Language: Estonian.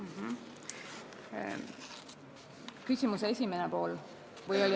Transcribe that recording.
Kas vastan ka küsimuse esimesele poolele?